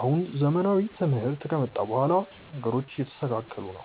አሁን ዘመናዊ ትምህርት ከመጣ በኋላ ነገሮቹ እየተስተካከሉ ነው።